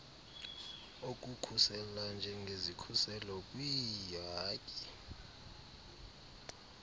okukhusela njengesikhuselo kwiihaki